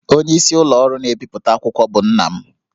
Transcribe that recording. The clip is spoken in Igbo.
Onyeisi ụlọ ọrụ na-ebipụta akwụkwọ bụ nna m